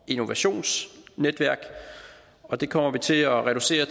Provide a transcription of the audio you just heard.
innovationsnetværk og det kommer vi til at reducere